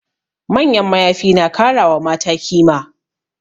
Manyan mayafi na kara wa mata kima